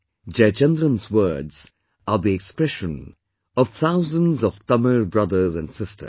" Jayachandran's words are the expression of thousands of Tamil brothers and sisters